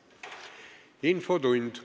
Infotund.